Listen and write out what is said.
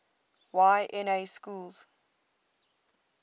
y na schools